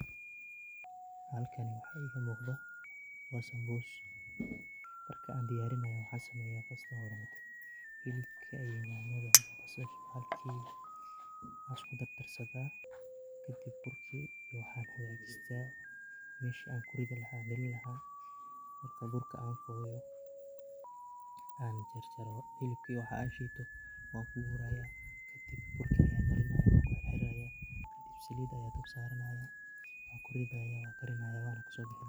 Halkani waxa iiga muuqdo waa sambuus, marka aan diyarinaayo waxaan sameyaa first hore ,hilibka iyo nyanayda iyo basasha ayaan isku dardarsadaa kadib burkii iyo waxaan hagajistaa mesha aan ku ridi lahaa galini lahaa. Marka burka aan qooyo , aan jarjaro hilibka iyo waxaa aan shiito waan ku warayaa, kadib burki ayaan marinayaa ku xirxirayaa kadib saliid ayaan dab saranayaa waan ku ridayaa waan karinayaa waana kasoo bixinayaa.